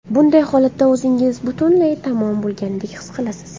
Bunday holatda o‘zingizni butunlay tamom bo‘lgandek his qilasiz.